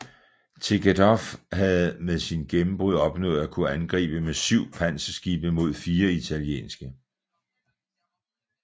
Tegetthoff havde med sit gennembrud opnået at kunne angribe med syv panserskibe mod fire italienske